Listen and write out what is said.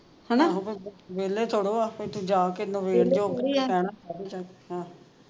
ਵੇਹਲੇ ਥੋੜੋ ਆ ਇਥੋਂ ਜਾ ਕੇ ਹੈਂ